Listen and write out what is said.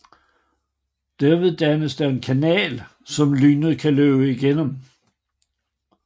Derved dannes der en kanal som lynet kan løbe igennem